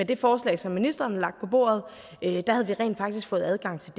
det forslag som ministeren lagde på bordet rent faktisk fået adgang til